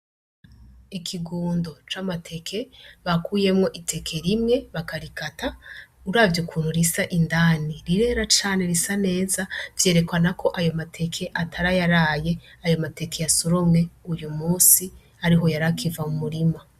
Ikigundo c'amateke bakuyemwo iteke rimwe bakarikata ur avyo ukuntu risa indani rirera cane risa neza vyerekana ko ayomateke atarayaraye ayomateke ya suromwe uyu musi ari ho yari akiva mu murima.